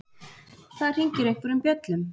Það hringir einhverjum bjöllum.